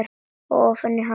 Og ofan í hana aftur.